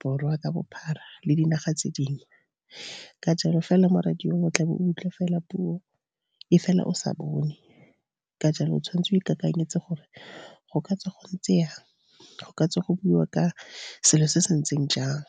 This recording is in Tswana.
Borwa ka bophara, le dinaga tse dingwe. Ka jalo fela mo radio o tlabe o utlwa fela puo, e fela o sa bone, ka jalo o tshwanetse o e kakanyetse gore go ka tswa go ntse yang, go ka tsa go buiwa ka selo se se ntseng jang.